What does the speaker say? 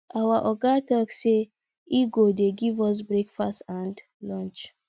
our oga talk say he go dey give us breakfast and lunch